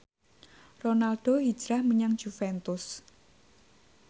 Ronaldo hijrah menyang Juventus